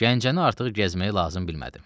Gəncəni artıq gəzməyi lazım bilmədim.